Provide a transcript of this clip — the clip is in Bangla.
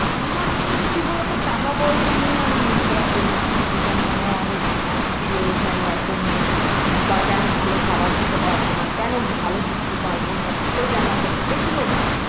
আমার কিন্তু কি বলতো টাকা পয়সা নিয়ে আমি মন খারাপ করিনা যে কেনো আমার অনেক আ ছিলো ছিলো কেনো এখন নেই বা কেনো ভালো খাবার খেতে পারবোনা কেনো ভালো ঘুরতে পারবোনা ভালো জামা কাপড় এগুলোনা